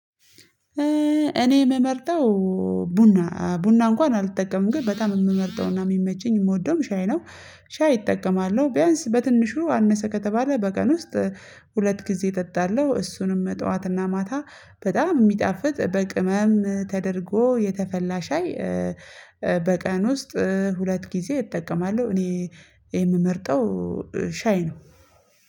እኔ የምመርጠው ቡና ቡና እንኳን አልጠቀምም ግን በጣም የምመርጠውና የሚመቸኝ የምወደውም ሻይ ነው። ሻይ እጠቀማለሁ ቢያንስ በትንሹ አነሰ ከተባለ በቀን ውስጥ ሁለት ጊዜ እጠጣለሁ። እሱንም መጣዋትና ማታ በጣም የሚጣፍጥ በቅመም ተደርጎ የተፈላ ሻይ። በቀን ውስጥ ሁለት ጊዜ እጠቀማለሁ። እኔ የምመርጠው ሻይ ነው